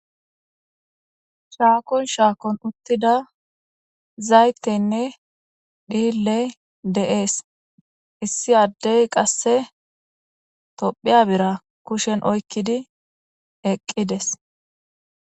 shaakon shaakon uttida zayteynne dhille deees issi addey qasse tophiya bira kushen oykkidi eqqides